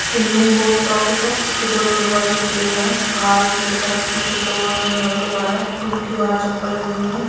Indian post office हैं उसके दोंनो दरवाजे खुले हुए हैं बाहर एक लड़का टी-शर्ट लोअर में झाड़ू लगा रहा है रूम के बाहर चप्पल लगी हुई है।